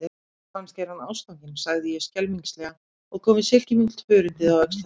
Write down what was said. Kannski er hann ástfanginn, sagði ég skelmislega og kom við silkimjúkt hörundið á öxl hennar.